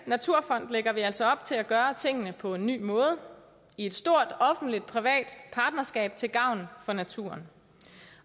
naturfond lægger vi altså op til at gøre tingene på en ny måde i et stort offentlig privat partnerskab til gavn for naturen